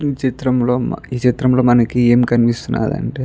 ఈ చిత్రం లో మ ఈ చిత్రం లో మనకి కనిపిస్తున్నదంటే --